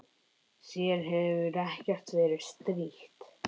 Þér hefur ekkert verið strítt?